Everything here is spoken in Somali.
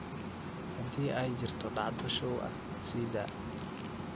hadii ay jirto dhacdo show ah sii daa